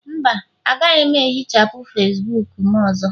mba, agaghị m ehichapụ Facibuku m ọzọ